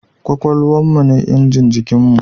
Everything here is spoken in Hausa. Kwakwalwan mu ne injin jikin mu